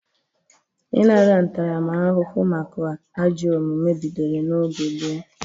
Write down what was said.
Ịnara ntaramahụhụ maka ajọ omume bidoro n'oge gboo.